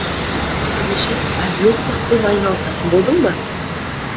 ендеше әзіл оспақпен айналысатын болдың ба